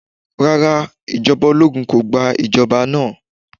Rara, ijọba ologun ko gba ijọba naa.